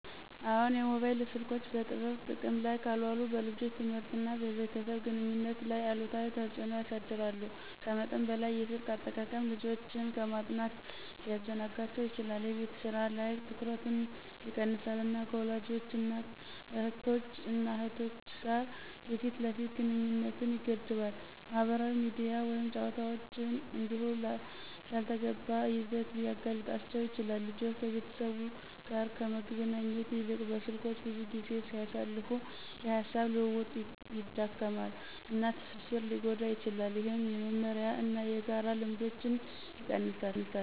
አዎን, የሞባይል ስልኮች በጥበብ ጥቅም ላይ ካልዋሉ በልጆች ትምህርት እና በቤተሰብ ግንኙነት ላይ አሉታዊ ተጽእኖ ያሳድራሉ. ከመጠን በላይ የስልክ አጠቃቀም ልጆችን ከማጥናት ሊያዘናጋቸው ይችላል፣ የቤት ስራ ላይ ትኩረትን ይቀንሳል፣ እና ከወላጆች እና እህቶች እና እህቶች ጋር የፊት ለፊት ግንኙነትን ይገድባል። ማህበራዊ ሚዲያ ወይም ጨዋታዎች እንዲሁ ላልተገባ ይዘት ሊያጋልጣቸው ይችላል። ልጆች ከቤተሰብ ጋር ከመገናኘት ይልቅ በስልኮች ብዙ ጊዜ ሲያሳልፉ፣ የሐሳብ ልውውጥ ይዳከማል፣ እና ትስስር ሊጎዳ ይችላል፣ ይህም የመመሪያ እና የጋራ ልምዶችን ይቀንሳል።